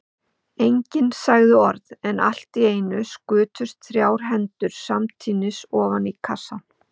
Enginn sagði orð, en allt í einu skutust þrjár hendur samtímis ofan í kassann.